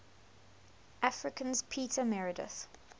africans peter meredith